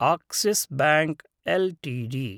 Axis bank LTD